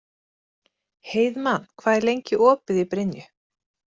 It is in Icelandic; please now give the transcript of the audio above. Heiðmann, hvað er lengi opið í Brynju?